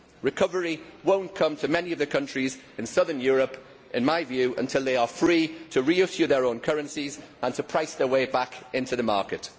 Recovery will not come to many of the countries in southern Europe, in my view, until they are free to reissue their own currencies and to price their way back into the market.